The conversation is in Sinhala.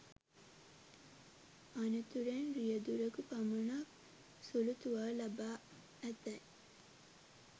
අනතුරෙන් රියදුරකු පමණක් සුළු තුවාල ලබා ඇතැයි